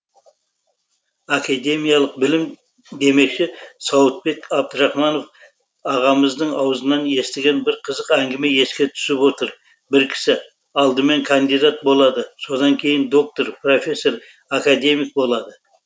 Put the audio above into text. академиялық білім демекші сауытбек абдрахманов ағамыздың аузынан естіген бір қызық әңгіме еске түсіп отыр бір кісі алдымен кандидат болады содан кейін доктор профессор академик болады